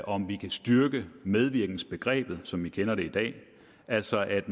om vi kan styrke medvirkensbegrebet som vi kender det i dag altså at